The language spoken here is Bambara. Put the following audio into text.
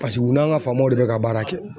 Paseke u n'an ka faamamaw de bɛ ka baara kɛ.